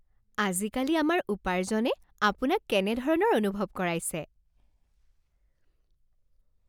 আজিকালি আমাৰ উপাৰ্জনে আপোনাক কেনেধৰণৰ অনুভৱ কৰাইছে?